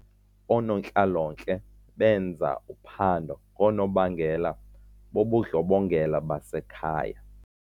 Oonontlalontle benza uphando ngoonobangela bobundlobongela basekhaya.